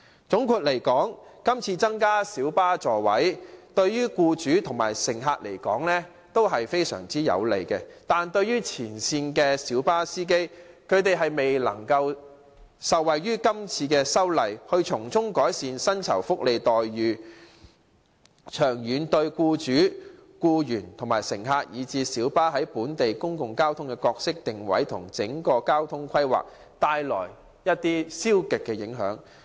總括而言，今次增加小巴座位，對於僱主和乘客來說，都是非常有利，但前線的小巴司機卻未能受惠於今次的修例，令他們的薪酬、福利待遇得以改善，長遠而言，對僱主、僱員、乘客，以致小巴在本地公共交通的角色定位和整體交通規劃均帶來負面影響。